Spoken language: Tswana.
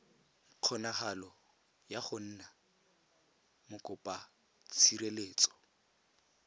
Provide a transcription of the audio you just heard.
kgonagalo ya go nna mokopatshireletso